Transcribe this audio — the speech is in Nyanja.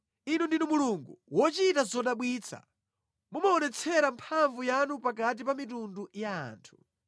Inu ndinu Mulungu wochita zodabwitsa; Mumaonetsera mphamvu yanu pakati pa mitundu ya anthu.